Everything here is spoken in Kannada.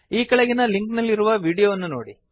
ಈ ಕೆಳಗಿನ ಲಿಂಕ್ ನಲ್ಲಿರುವ ವಿಡಿಯೋವನ್ನು ವೀಕ್ಷಿಸಿ